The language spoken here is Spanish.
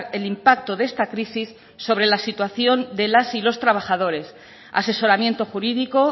el impacto de esta crisis sobre la situación de las y los trabajadores asesoramiento jurídico